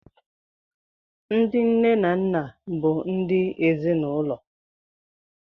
Ndị nne na nna bụ ndị ezinaụlọ